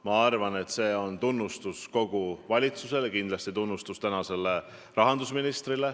Ma arvan, et selle eest võib tunnustada kogu valitsust ja kindlasti eraldi ka rahandusministrit.